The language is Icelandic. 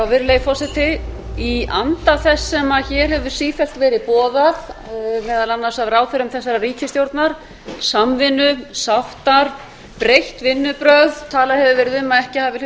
virðulegi forseti í anda þess sem hér hefur sífellt verið boðað meðal annars af ráðherrum þessarar ríkisstjórnar samvinnu sáttar breytt vinnubrögð talað hefur verið um að ekki hafi